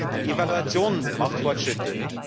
Die Evaluation macht Fortschritte.